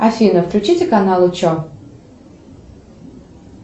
афина включите канал че